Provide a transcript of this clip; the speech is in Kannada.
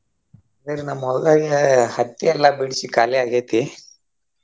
ಈಗ ನಮ್ಮ ಹೊಲ್ದಾಗ ಹತ್ತಿಯೆಲ್ಲಾ ಬಿಡ್ಸಿ ಖಾಲಿ ಆಗೇತಿ.